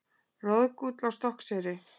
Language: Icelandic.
Roðgúll á Stokkseyri.